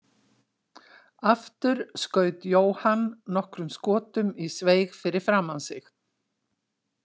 Aftur skaut Jóhann nokkrum skotum í sveig fyrir framan sig.